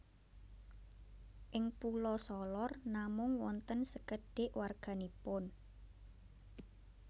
Ing Pulo Solor namung wonten sekedhik warga nipun